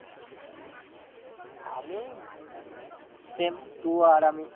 আমি same তুই আর আমি।